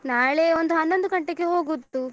ನಾಳೆ ಒಂದು ಹನ್ನೊಂದು ಗಂಟೆಗೆ ಹೋಗುದು.